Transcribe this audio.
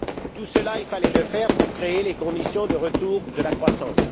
Tout cela, il fallait le faire pour créer les conditions de retour de la croissance.